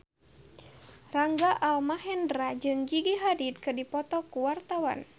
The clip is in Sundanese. Rangga Almahendra jeung Gigi Hadid keur dipoto ku wartawan